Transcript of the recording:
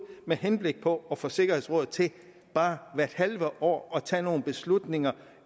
med henblik på at få sikkerhedsrådet til bare hvert halve år at tage nogle beslutninger